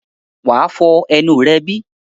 wà á fọ ẹnu rẹ bí?